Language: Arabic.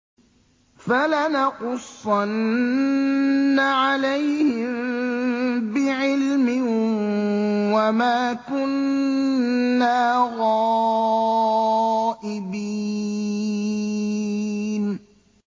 فَلَنَقُصَّنَّ عَلَيْهِم بِعِلْمٍ ۖ وَمَا كُنَّا غَائِبِينَ